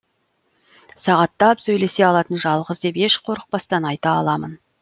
сағаттап сөйлесе алатын жалғыз деп еш қорықпастан айта аламын